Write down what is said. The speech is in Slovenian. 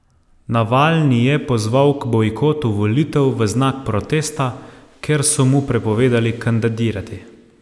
Navalni je pozval k bojkotu volitev v znak protesta, ker so mu prepovedali kandidirati.